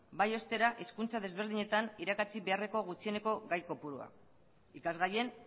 bai ostera hizkuntza ezberdinetan irakatsi beharreko gutxieneko gai kopurua ikasgaien